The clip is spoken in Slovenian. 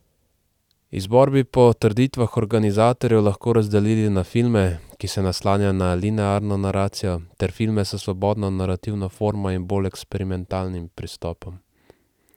Izbor bi po trditvah organizatorjev lahko razdelili na filme, ki se naslanjajo na linearno naracijo, ter filme s svobodno narativno formo in bolj eksperimentalnim pristopom.